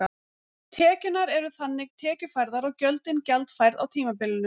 Tekjurnar eru þannig tekjufærðar og gjöldin gjaldfærð á tímabilinu.